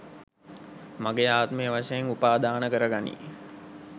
මගේ ආත්මය වශයෙන් උපාදානකර ගනී.